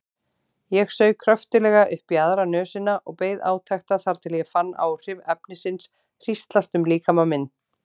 Ég saug kröftuglega upp í aðra nösina og beið átekta þar til ég fann áhrif efnisins hríslast um líkama minn.